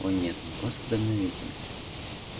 о нет он просто дальновиден